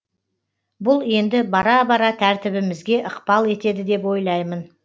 бұл енді бара бара тәртібімізге ықпал етеді деп ойлаймын